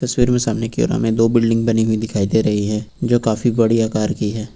तस्वीर में सामने की ओर हमें दो बिल्डिंग बनी हुई दिखाई दे रही हैं जो काफी बड़ी आकार की है।